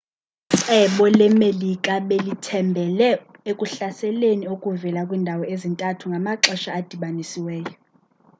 icebo le-melika belithembhele ekuhlaseleni okuvela kwiindawo ezintathu ngamaxesha adibanisiweyo